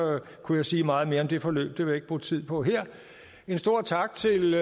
kunne jeg sige meget mere om det forløb det vil jeg ikke bruge tid på her en stor tak til